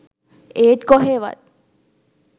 ඒත් කොහේවත්